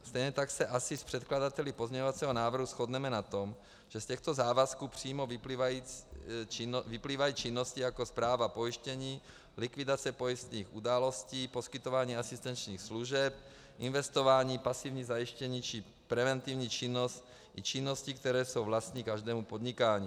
Stejně tak se asi s předkladateli pozměňovacího návrhu shodneme na tom, že z těchto závazků přímo vyplývají činnosti jako správa pojištění, likvidace pojistných událostí, poskytování asistenčních služeb, investování, pasivní zajištění či preventivní činnost i činnosti, které jsou vlastní každému podnikání.